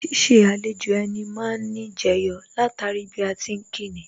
Ṣiṣẹ́ àlejò ẹni má ni jẹyọ látara bí a ti ń kíni